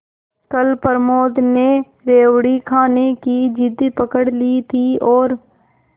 कल प्रमोद ने रेवड़ी खाने की जिद पकड ली थी और